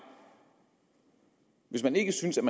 hvis man ikke synes at